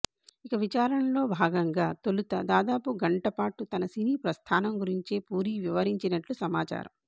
ఇక విచారణలో భాగంగా తొలుత దాదాపు గంటపాటు తన సినీ ప్రస్థానం గురించే పూరీ వివరించినట్లు సమాచారం